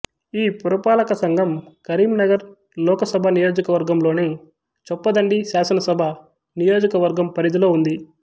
ఈ పురపాలక సంఘం కరీంనగర్ లోకసభ నియోజకవర్గం లోని చొప్పదండి శాసనసభ నియోజకవర్గం పరిధిలో ఉంది